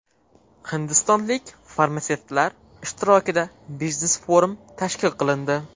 Hindistonlik farmatsevtlar ishtirokida biznes-forum tashkil qilindi.